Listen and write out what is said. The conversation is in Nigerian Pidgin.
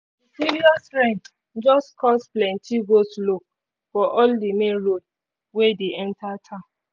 the serious rain just cause plenty go-slow for all the main road wey dey enter town